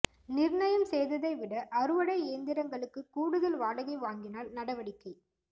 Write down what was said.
நிர்ணயம் செய்ததை விட அறுவடை இயந்திரங்களுக்கு கூடுதல் வாடகை வாங்கினால் நடவடிக்கை